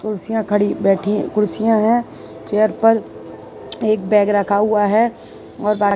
कुर्सियां खड़ी बैठी कुर्सियां हैं चेयर पर एक बैग रखा हुआ है और --